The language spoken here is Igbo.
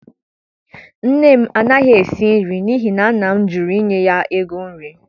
Nne m anaghị esi nri n'ihi na nna m jụrụ inye ya ego nri